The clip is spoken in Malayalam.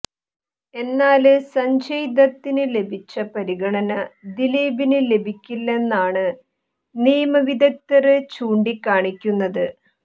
എന്നാല് സഞ്ജയ് ദത്തിന് ലഭിച്ച പരിഗണന ദിലീപിന് ലഭിക്കില്ലെന്നാണ് നിയമ വിദഗ്ദര് ചൂണ്ടിക്കാണിക്കുന്നത്